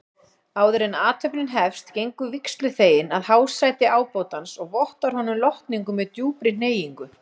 Áðuren athöfnin hefst gengur vígsluþeginn að hásæti ábótans og vottar honum lotningu með djúpri hneigingu.